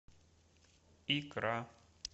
икра